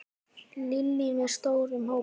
Lillý: Með stórum hópi?